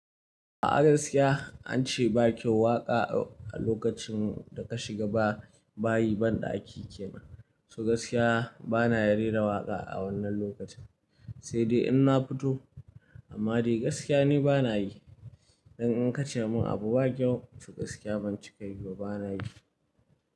A gaskiya ance bakyau waƙa a lokacin da ka shiga ba bayi banɗaki kenan, so gaskiya bana yin rera waƙa a wannan lokacin, sai dai ina fito amma dai gaskiya ne bana yi. Dan in ka ce mun abu bakyau so gaskiya ban cika yi ba bana yi.